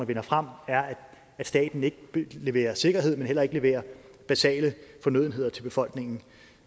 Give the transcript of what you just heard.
vinder frem er at staten ikke leverer sikkerhed men heller ikke leverer basale fornødenheder til befolkningen